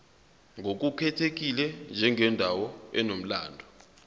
ngokukhethekile njengendawo enomlando